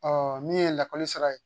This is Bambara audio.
Ɔ min ye lakɔli sara ye